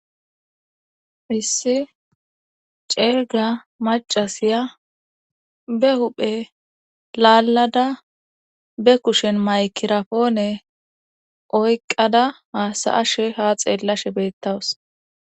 Issi cega macasiya be huphe lalada maygaponne oyqada hasayashe ha xelada betawus.